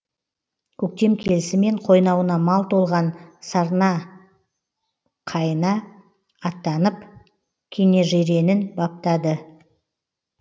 көктем келісімен қойнауына мал толған сарнақайына аттанып кенежиренін баптады